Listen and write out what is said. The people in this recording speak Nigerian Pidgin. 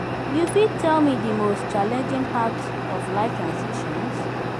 you fit tell me di most challenging part of life transitions?